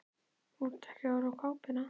Þú ert að horfa á kápuna.